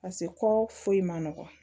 Paseke kɔ foyi man nɔgɔn